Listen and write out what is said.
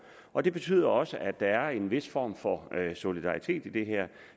og det betyder også at der er en vis form for solidaritet i det her